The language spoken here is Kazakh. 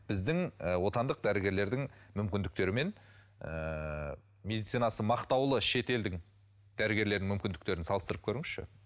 біздің ы отандық дәрігерлердің мүмкіндіктері мен ыыы медицинасы мақтаулы шетелдің дәрігерлерінің мүмкіндіктерін салыстырып көріңізші